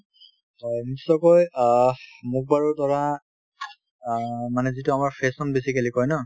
হয়, নিশ্চয়কৈ অ মোক বাৰু ধৰা অ মানে যিটো আমাৰ fashion basically কই ন